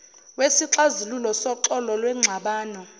wesixazululo soxolo lwengxabano